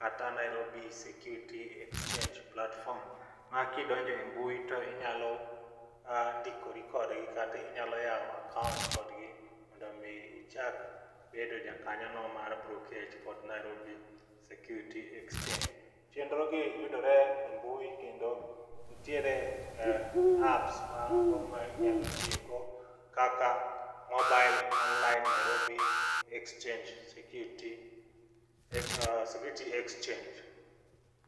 kata Nairobi Security Exchange platform. Ma kidonje e mbui to inyalo ndikori kodgi kata inyalo yawo akaont kodgi mondo mi ichak bedo ja kanyo no mar brokej kod Nairobi Security Exchange. Chendro gi yudore e mbui kendo ntiere apps mago ma inyalo tiyogo kaka mobile online Nairobi Exhange Security Security Exchange.